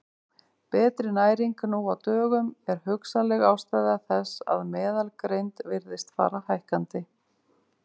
Betri næring nú á dögum er hugsanleg ástæða þess að meðalgreind virðist fara hækkandi.